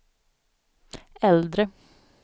äldre